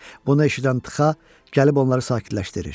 Bunu eşidən Txa gəlib onları sakitləşdirir.